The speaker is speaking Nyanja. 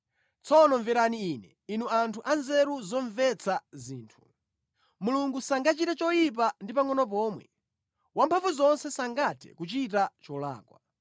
“Tsono mverani ine, inu anthu anzeru zomvetsa zinthu. Mulungu sangachite choyipa ndi pangʼono pomwe, Wamphamvuzonse sangathe kuchita cholakwa.